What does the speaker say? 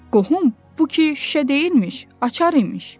Qohum, bu ki şüşə deyilmiş, açar imiş.